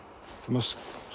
maður